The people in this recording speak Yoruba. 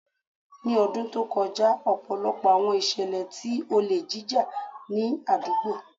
Ni ọdun to kọja, ọpọlọpọ awọn iṣẹlẹ ti ole jija ni adugbo